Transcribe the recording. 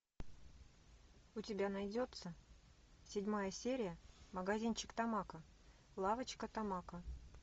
у тебя найдется седьмая серия магазинчик тамако лавочка тамако